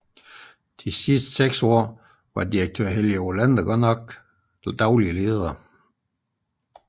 De sidste 6 år dog med Direktør Helge Olander som daglig leder